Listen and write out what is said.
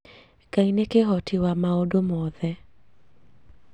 Ngai nĩ kĩhoti wa maũndũ moothe